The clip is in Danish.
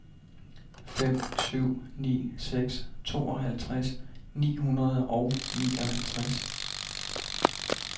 fem syv ni seks tooghalvtreds ni hundrede og nioghalvtreds